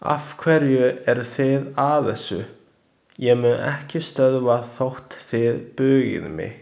Afhverju eru þið að þessu, ég mun ekki stöðva þótt þið bugið mig!